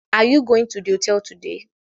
Are you going to the hotel today